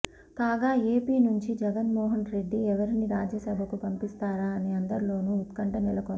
కాగా ఏపీ నుంచి జగన్మోహన్రెడ్డి ఎవరిని రాజ్యసభకు పంపిస్తారా అని అందరిలోనూ ఉత్కంఠ నెలకొంది